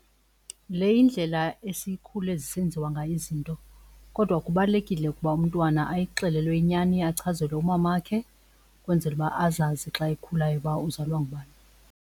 Le yindlela esikhule zisenziwa ngayo izinto kodwa kubalulekile ukuba umntwana ayixelelwe inyani achazelwe umamakhe ukwenzela uba azazi xa ekhulayo uba uzalwa ngubani.